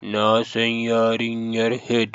Na san yarinyar Head